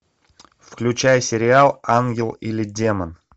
включай сериал ангел или демон